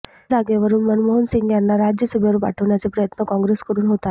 त्या जागेवरून मनमोहन सिंग यांना राज्यसभेवर पाठवण्याचे प्रयत्न काँग्रेसकडून होत आहेत